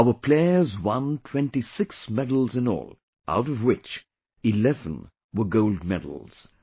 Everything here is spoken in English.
Our players won 26 medals in all, out of which 11 were Gold Medals